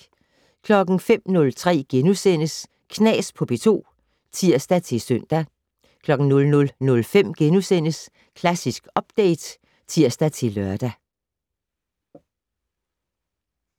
05:03: Knas på P2 *(tir-søn) 00:05: Klassisk Update *(tir-lør)